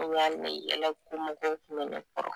O yan ne yɛlɛko mɔgɔw kun be ne kɔrɔ